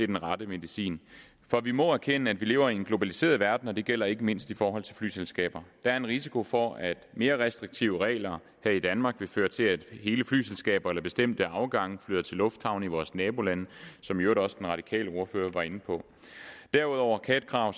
den rette medicin vi må erkende at vi lever i en globaliseret verden og det gælder ikke mindst i forhold til flyselskaber der er en risiko for at mere restriktive regler her i danmark vil føre til at hele flyselskaber eller bestemte afgange flytter til lufthavne i vores nabolande som i øvrigt også den radikale ordfører var inde på derudover kan et krav